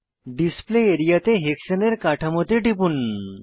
display area তে hexane এর কাঠামোতে টিপুন